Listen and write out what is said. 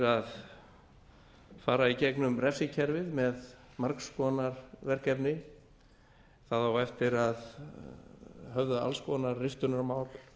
að fara í gegnum refsikerfið með margs konar verkefni það á eftir að höfða alls konar riftunarmál